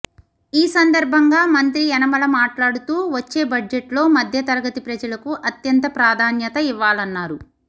ఈ సందర్భంగా మంత్రి యనమల మాట్లాడుతూ వచ్చే బడ్జెట్లో మధ్యతరగతి ప్రజలకు అత్యంత ప్రాధాన్యత ఇవ్వాలన్నారు